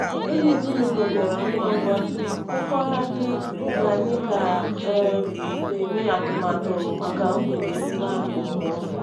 Enyi ezinụlọ bịara ngwa ngwa, hụkwara anyị ka anyị ka um na-eme atụmatụ maka mgbede emume ahụ.